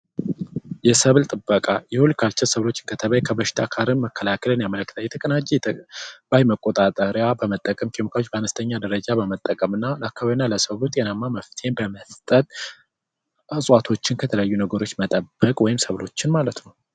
የሰብል ጥበቃ የሆልቲ ካልቸር ሰብሎች ከተባይ እየተጠበቀ ከሽታ ጋር መከላከልን ያመለክታል። የተቀናጀ መቆጣጠሪያ በመጠቀም ኬሚካሎች በአነስተኛ ደረጃ በመጠቀምና ለአካባቢው እና ለሰው ውጤታማ መፍትሄ በመስጠት እፅዋቶችን ከተለያዩ ነገሮች መጠበቅ ወይም ሰብሎችን ማለት ነው።